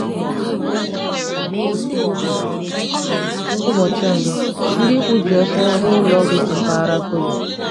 Ụbọchị ọzọ, ndị ikwu ji ọsọ ruo ụlọ ọgwụ si mpaghara Kobe.